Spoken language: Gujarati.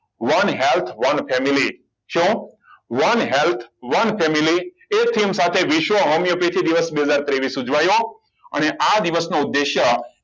one health one family શું one health one family એ theme સાથે ફેસવો હોમિયોપેથિક દિવસ બે હજાર ત્રેવિસ ઉજવાયું અને આ દિવસનો ઉદ્દેશ્ય